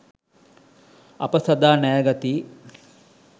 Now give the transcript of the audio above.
අප සදා ණයගැතියි